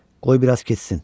Qoy biraz keçsin.